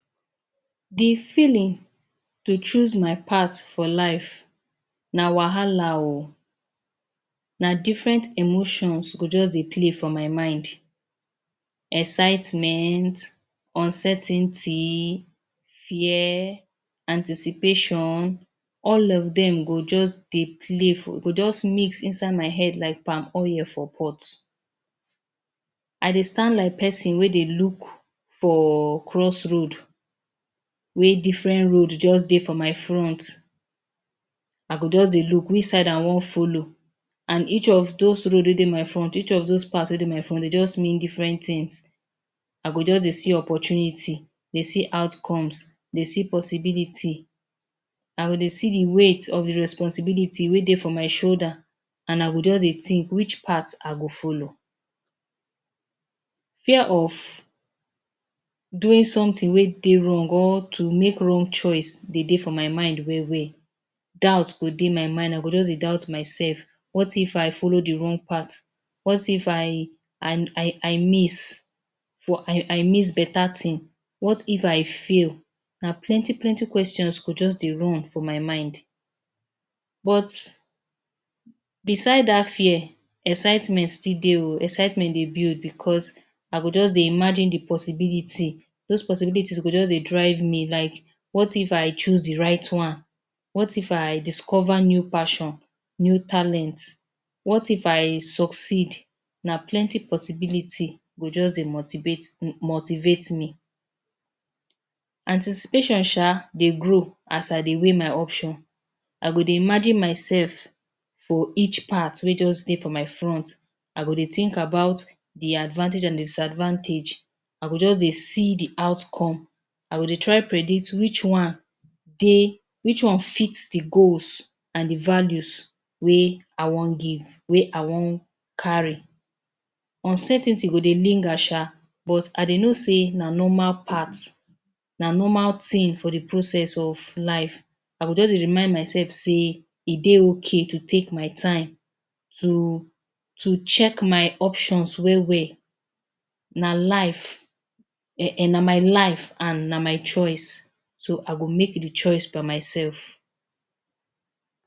De feeling to choose my path for life na wahala oo. Na different emotions go just dey play for my mind; excitement, uncertainty, fear, anticipation, all of dem go just dey play for go just mix for inside my head like palm oil for pot. I dey stand like person wey dey look for crossroad wey different road just dey for my front. I go just dey look which side I wan follow and each of those road wey dey my front, each of those path wey dey my front e just mean different things. I go just dey see opportunity, dey see outcomes, dey see possibility. I go dey see de weight of de responsibility wey dey for my shoulder and I go just dey think which part I go follow. Fear of, doing something wey dey wrong or to make wrong choice dey dey for my mind well well, doubt go dey my mind I go just dey doubt myself; “what if I follow de wrong part, what if I miss I I miss better thing, what if I fail”, na plenty plenty questions go just dey run for my mind but beside dat fear, excitement still dey oo. Excitement dey build because I go dey imagine de possibility, those possibility go just dey drive me; “what if I choose de right one, what if I discover new passion new talent, what if I succeed”. Na plenty possibility go just dey motivate um motivate me. Anticipation sha dey grow as I dey weigh my option. I go dey imagine myself for each path wey just dey for my front. I go dey think about de advantage and disadvantage, I go just dey see de outcome. I go try predict which one dey which one fit de goals and de values wey I wan give wey I wan carry. Uncertainty go dey linger sha but i dey know say na normal path na normal thing for de process of life. I go just dey remind myself sey e dey okay to take my time, to to check my options well well. Na life na um na life and na my choice so I go make de choice by myself.